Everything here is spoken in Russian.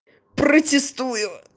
протестую